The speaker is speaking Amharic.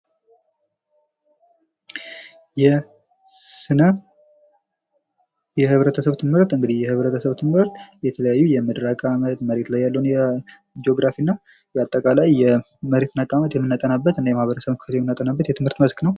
የህብረተሰብ ትምህርት የህብረተሰብ ትምህርት እንግዲህ የተለያዩ የምድር አቀማመጥ መሬት ላይ ያሉ ጂኦግራፊ እና ያጠቃላይ የመሬትን አቀማመጥ የምናጠናበት የማህበረሰብ ክፍል የምናጠናበት የትምህርት መስክ ነው።